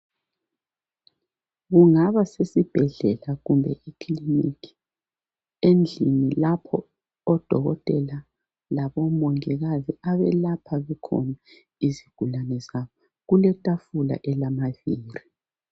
Kungaba sesibhedlela kumbe ekilinika endlini lapho odokotela labomongikazi abelapha khona izigulane zabo. Kuletafula elamavili.